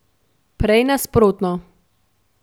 Prej nasprotno.